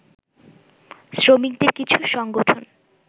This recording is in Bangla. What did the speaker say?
শ্রমিকদের কিছু সংগঠন